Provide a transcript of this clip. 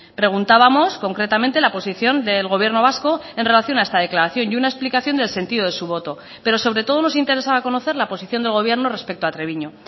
preguntábamos concretamente la posición del gobierno vasco en relación a esta declaración y una explicación del sentido de su voto pero sobre todo nos interesaba conocer la posición del gobierno respecto a treviño